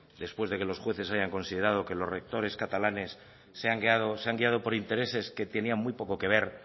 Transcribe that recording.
después de que los jueves hayan considerado que los rectores catalanes se han guiado por intereses que tenían muy poco que ver